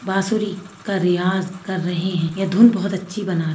बासूरी का रियाज़ कर रहे है ये धुन बहुत अच्छी बना--